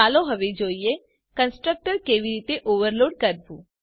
ચાલો હવે જોઈએ કન્સ્ટ્રક્ટર કેવી રીતે ઓવરલોડ કરવું